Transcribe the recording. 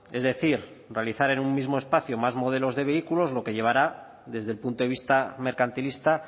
es decir realizar en un mismo espacio más modelos de vehículos lo que llevará desde el punto de vista mercantilista